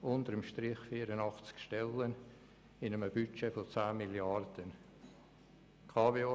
Unter dem Strich werden bei einem Budget von 10 Mrd. Franken 84 Stellen abgebaut.